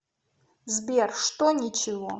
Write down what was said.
сбер что ничего